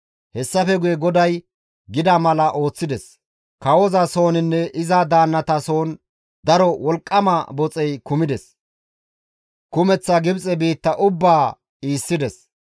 Hessafe guye GODAY gida mala ooththides; kawoza sooninne iza daannata soon daro wolqqama boxey kumides; kumeththa Gibxe biitta ubbaa iissides.